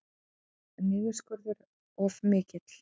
Boðaður niðurskurður of mikill